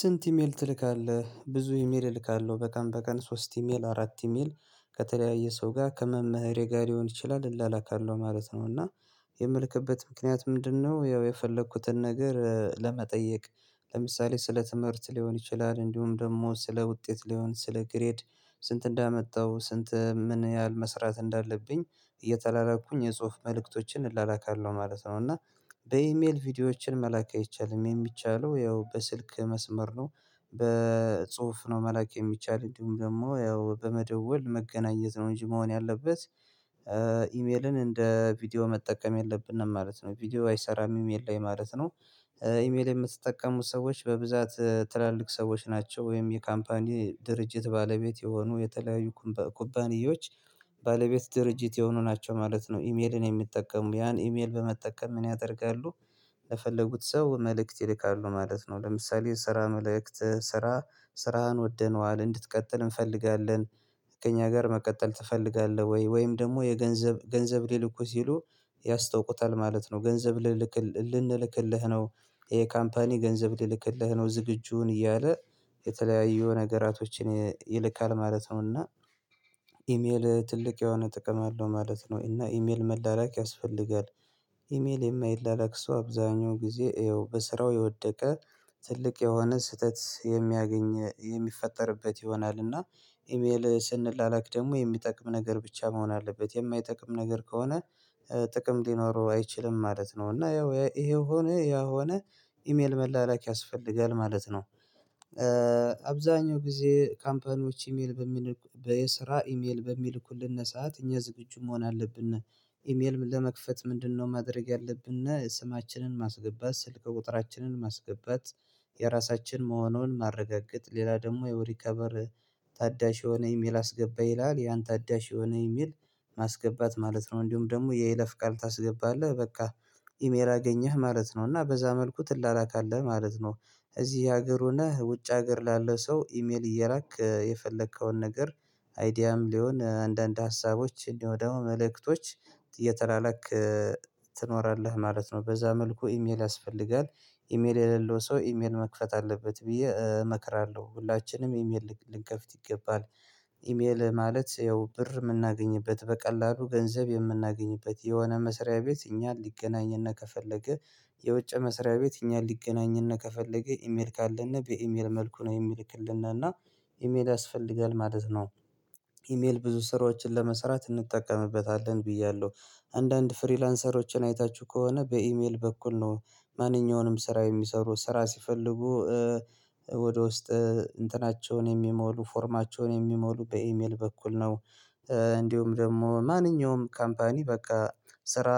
ስንት ኢሜል ትልካለህ ብዙ ኢሜል እልካለሁ በቀን በቀን ሶስት ኢሜል አራት ኢሜል ከተለያየ ሰው ጋር ከመምህሬ ጋር ሊሆን ይችላል እላላካለሁ ማለት ነው እና የምልክበት ምክንያት ምንድነው? ያው የፈለኩትን ነገር ለመጠየቅ ለምሳሌ ስለ ትምህርት ሊሆን ይችላል እንዲሁም ደግሞ ስለ ውጤት ሊሆን ስለ ግሬድ ስንት እንዳመጣው ስንት ምን ያህል መስራት እንዳለብኝ እየተላላኩኝ የጽሁፍ መልእክቶችን እላላካለሁ ማለት ነው። እና በኢሜል ቪዲዮዎችን መላክ አይቻልም የሚቻለው ያው በስልክ መስመር ነው። በጽሁፍ ነው መላክ የሚቻል እንዲሁም ደግሞ ያው በመደወል መገናኘት ነው እንጂ መሆን ያለበት ኢሜልን እንደ ቪዲዮ መጠቀም የለብንም ማለት ነው። ቪዲዮ አይሰራም ኢሜል ላይ ማለት ነው። ኢሜል የምትጠቀሙት ሰዎች በብዛት ትላልቅ ሰዎች ናቸው ወይም የካምፓኒ ድርጅት ባለቤት የሆኑ የተለያዩ ኩባንያዎች ባለቤት ድርጅት የሆኑ ናቸው ማለት ነው ኢሜልን የሚጠቀሙ ያን ኢሜል በመጠቀም ምን ያደርጋሉ? ለፈለጉት ሰው መልእክት ይልካሉ ማለት ነው። ለምሳሌ ስራ መልእክት ስራ ስራህን ወደነዋል እንድትቀጥል እንፈልጋለን ከእኛ ጋር መቀጠል ትፈልጋለህ ወይ ወይም ደግሞ የገንዘብ ገንዘብ ሊልኩህ ሲሉ ያስታውቁታል ማለት ነው። ገንዘብ ልልክ ልንልክልህ ነው ይሄ ካምፓኒ ገንዘብ ሊልክልህ ነው ዝግጁ ሁን እያለ የተለያዩ ነገራቶችን ይልካል ማለት ነው። እና ኢሜል ትልቅ የሆነ ጥቅም አለው ማለት ነው እና ኢሜል መላላክ ያስፈልጋል። ኢሜል የማይላላክ ሰው አብዛኛው ጊዜ ያው በስራው የወደቀ ትልቅ የሆነ ስህተት የሚያገኝ የሚፈጠርበት ይሆናል። እና ኢሜል ስንላላክ ደግሞ የሚጠቅም ነገር ብቻ መሆን አለበት የማይጠቅም ነገር ከሆነ ጥቅም ሊኖረው አይችልም ማለት ነው። እና ያው ይሄው ሆነ ያው ሆነ ኢሜል መላላክ ያስፈልጋል ማለት ነው። አብዛኛው ጊዜ ካምፓኒዎች ኢሜል በሚል በየስራ ኢሜል በሚልኩልን ሰዓት እኛ ዝግጁ መሆን አለብን። ኢሜል ለመክፈት ምንድነው? ማድረግ ያለብን ስማችንን ማስገባት ስልክ ቁጥራችንን ማስገባት የራሳችን መሆኑን ማረጋገጥ ሌላ ደግሞ የሪከቨር ታዳሽ የሆነ ኢሜል አስገባ ይላል ያን ታዳሽ የሆነ ኢሚል ማስገባት ማለት ነው። እንዲሁም ደግሞ የይለፍ ቃል ታስገባለህ በቃ ኢሜል አገኘህ ማለት ነው እና በዛ መልኩ ትላላካለህ ማለት ነው። እዚህ ሀገር ሆነህ ውጭ ሀገር ላለው ሰው ኢሜል እየላክ የፈለከውን ነገር አይዲያም ይሁን አንዳንድ ሀሳቦች እንዲሁ ደግሞ መልእክቶች እየተላላክ ትኖራለህ ማለት ነው። በዛ መልኩ ኢሜል ያስፈልጋል ኢሜል የሌለው ሰው ኢሜል መክፈት አለበት ብዬ እመክራለሁ ሁላችንም ኢሜል ልንከፍት ይገባል። ኢሜል ማለት ያው ብር የምናገኝበት በቀላሉ ገንዘብ የምናገኝበት የሆነ መስሪያ ቤት እኛን ሊገናኝና ከፈለገ የውጭ መስሪያ ቤት እኛን ሊገናኘን ከፈለገ ኢሜል ካለን በኢሜል መልኩ ነው የሚልክልን እና ኢሜል ያስፈልጋል ማለት ነው። ኢሜል ብዙ ስራዎችን ለመስራት እንጠቀምበታለን ብያለሁ አንዳንድ ፍሪላንሰሮችን አይታችሁ ከሆነ በኢሜል በኩል ነው ማንኛውንም ስራ የሚሰሩ ስራ ሲፈልጉ ወደ ውስጥ እንትናቸውን የሚሞሉ ፎርማቸውን የሚሞሉ በኢሜል በኩል ነው። እንዲሁም ደግሞ ማንኛውም ካምፓኒ በቃ ስራ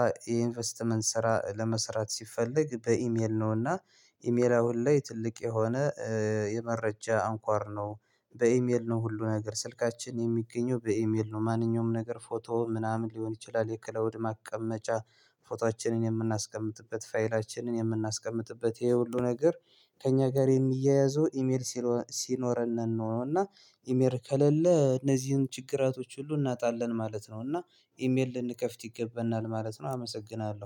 ኢንቨስትመንት ስራ ለመስራት ሲፈልግ በኢሜል ነው እና ኢሜል አሁን ላይ ትልቅ የሆነ የመረጃ አንኳር ነው። በኢሜል ነው ሁሉ ነገር ስልካችን የሚገኘው በኢሜል ነው ማንኛውም ነገር ፎቶ ምናምን ሊሆን ይችላል የክላውድ ማቀመጫ ፎቶአችንን የምናስቀምጥበት ፋይላችንን የምናስቀምጥበት ይሄ ሁሉ ነገር ከእኛ ጋር የሚያያዘው ኢሜል ሲኖረን ነው። እና ኢሜል ከሌለ እነዚህን ችግራቶች ሁሉ እናጣለን ማለት ነው። እና ኢሜል ልንከፍት ይገባናል ማለት ነው። አመሰግናለሁ